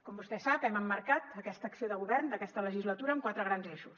com vostè sap hem emmarcat aquesta acció de govern d’aquesta legislatura en quatre grans eixos